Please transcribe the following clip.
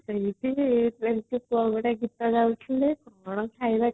ସେଇଠି ଏମିତି କ'ଣ ଗୋଟେ ଗୀତ ଗାଉଥିଲେ କ'ଣ ଖାଇବାକୁ